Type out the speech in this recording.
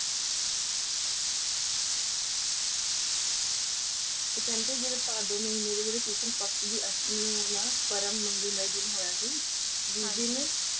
ਤੇ ਕਹਿੰਦੇ ਨੇ ਜਿਹੜਾ ਭਾਦੋ ਮਹੀਨੇ ਦੇ ਜਿਹੜੇ ਕਿਸ਼ਨ ਪਕਸ਼ ਦੀ ਪਰਮ ਮੰਗਲ ਮਏ ਦਿਨ ਹੋਇਆ ਸੀ ਜਿਸ ਦਿਨ।